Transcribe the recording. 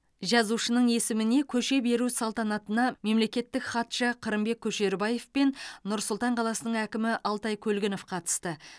жазушының есіміне көше беру салтанатына мемлекеттік хатшы қырымбек көшербаев пен нұр сұлтан қаласының әкімі алтай көлгінов қатысты